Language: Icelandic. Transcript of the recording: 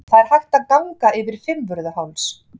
Það er hægt að ganga yfir Fimmvörðuháls.